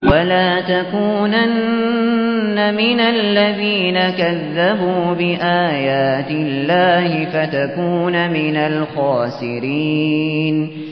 وَلَا تَكُونَنَّ مِنَ الَّذِينَ كَذَّبُوا بِآيَاتِ اللَّهِ فَتَكُونَ مِنَ الْخَاسِرِينَ